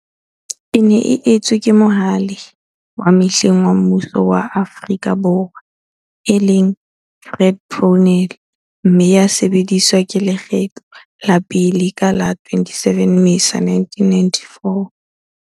E ne e etswe ke Mohale wa mehleng wa mmuso wa Afrika Borwa, e leng, Fred Brownell, mme ya sebediswa lekgetlo la pele ka la 27 Mmesa 1994.